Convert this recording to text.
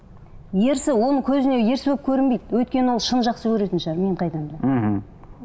ерсі оның көзіне ерсі болып көрінбейді өйткені ол шын жақсы көретін шығар мен қайдан білемін мхм